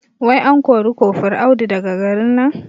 Wai an kore kofur Audu daga garin nan?